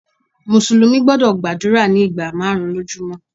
Mùsùlùmí gbúdọ̀ gbàdúrà ní ìgbà márùn-ún lójú mọ́.